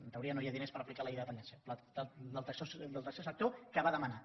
en teoria no hi ha diners per aplicar la llei de dependència del tercer sector que va demanar